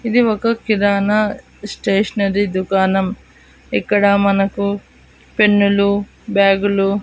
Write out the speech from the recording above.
ఇది ఒక కిరాణా స్టేషనరీ దుకాణం ఇక్కడ మనకు పెన్ను లు బ్యాగు లు.